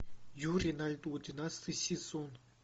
юрий на льду двенадцатый сезон